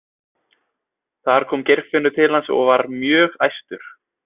Þar kom Geirfinnur til hans og var mjög æstur.